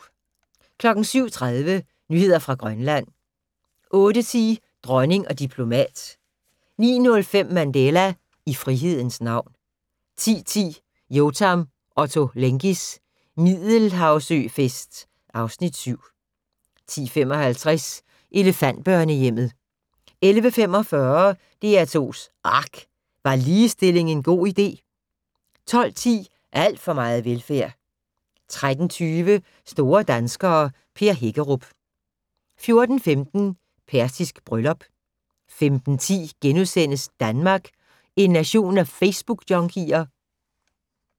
07:30: Nyheder fra Grønland 08:10: Dronning og diplomat 09:05: Mandela - i frihedens navn 10:10: Yotam Ottolenghis Middelhavsøfest (Afs. 7) 10:55: Elefantbørnehjemmet 11:45: DR2's ARK - Var ligestilling en god idé? 12:10: Alt for meget velfærd 13:20: Store danskere - Per Hækkerup 14:15: Persisk bryllup 15:10: Danmark - en nation af Facebookjunkier? *